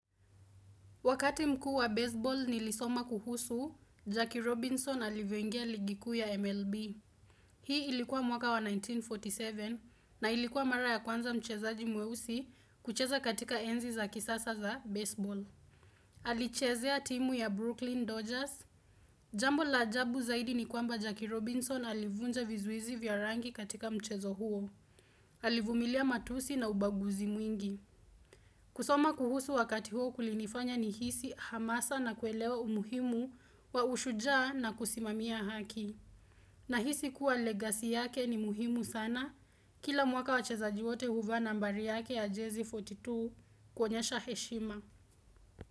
Wakati mkuu wa baseball nilisoma kuhusu, Jackie Robinson alivyongia ligi kuu ya MLB. Hii ilikuwa mwaka wa 1947 na ilikuwa mara ya kwanza mchezaji mweusi kucheza katika enzi za kisasa za baseball. Alichezea timu ya Brooklyn Dodgers. Jambo la ajabu zaidi ni kwamba Jackie Robinson alivunja vizuizi vya rangi katika mchezo huo. Alivumilia matusi na ubaguzi mwingi. Kusoma kuhusu wakati huu kulinifanya nihisi hamasa na kuelewa umuhimu wa ushujaa na kusimamia haki. Nahisi kuwa legacy yake ni muhimu sana. Kila mwaka wachezaji wote huvaa nambari yake ya Jezi 42 kuonyesha heshima.